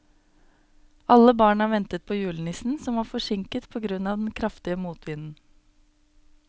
Alle barna ventet på julenissen, som var forsinket på grunn av den kraftige motvinden.